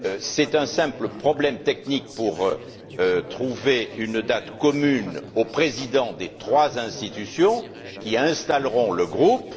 C'est un simple problème technique pour trouver une date convenant aux présidents des trois institutions qui installeront le groupe.